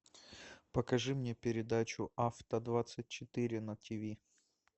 покажи мне передачу авто двадцать четыре на тв